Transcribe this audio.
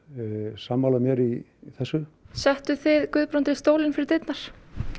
sammála mér í þessu settuð þið Guðbrandi stólinn fyrir dyrnar